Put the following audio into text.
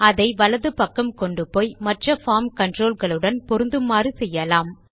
அதை வலது பக்கம் கொண்டுப்போய் மற்ற பார்ம் கன்ட்ரோல் களுடன் பொருந்துமாறு செய்யலாம்